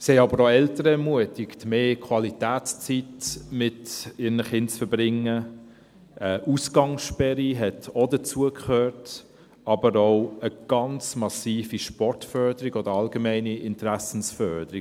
Sie ermutigten aber auch die Eltern, mehr Qualitätszeit mit ihren Kindern zu verbringen, eine Ausgangssperre gehörte auch dazu, aber auch eine ganz massive Sportförderung und eine allgemeine Interessensförderung.